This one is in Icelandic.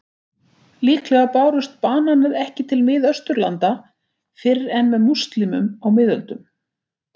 Líklega bárust bananar ekki til Miðausturlanda fyrr en með múslímum á miðöldum.